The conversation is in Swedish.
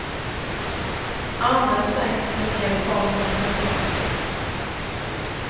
Anden sänker sig ned i form av en duva.